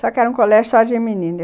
Só que era um colégio só de menina.